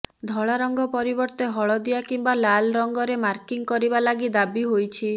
ଧଳା ରଙ୍ଗ ପରିବର୍ତ୍ତେ ହଳଦିଆ କିମ୍ବା ଲାଲ୍ ରଙ୍ଗରେ ମାର୍କିଂ କରିବା ଲାଗି ଦାବି ହୋଇଛି